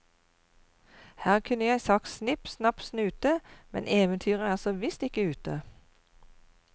Her kunne jeg sagt snipp snapp snute, men eventyret er så visst ikke ute.